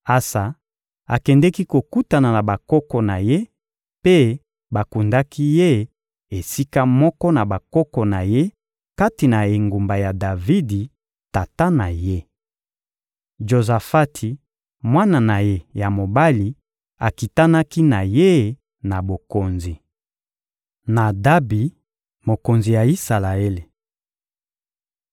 Asa akendeki kokutana na bakoko na ye, mpe bakundaki ye esika moko na bakoko na ye kati na engumba ya Davidi, tata na ye. Jozafati, mwana na ye ya mobali, akitanaki na ye na bokonzi. Nadabi, mokonzi ya Isalaele